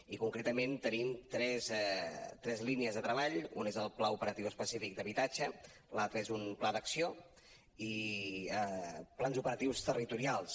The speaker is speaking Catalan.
i concretament tenim tres línies de treball una és el pla operatiu específic d’habitatge l’altra és un pla d’acció i plans operatius territorials